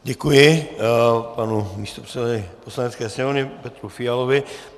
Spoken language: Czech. Děkuji panu místopředsedovi Poslanecké sněmovny Petru Fialovi.